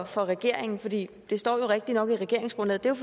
for regeringen for det det står jo rigtigt nok i regeringsgrundlaget er